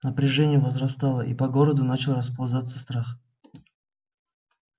напряжение возрастало и по городу начал расползаться страх